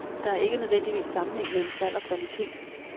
Der er ikke nødvendigvis sammenhæng mellem salg og kvalitet.